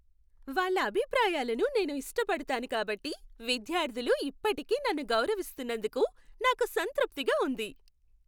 వాళ్ళ అభిప్రాయాలను నేను ఇష్టపడతాను కాబట్టి విద్యార్థులు ఇప్పటికీ నన్ను గౌరవిస్తున్నందుకు నాకు సంతృప్తిగా ఉంది.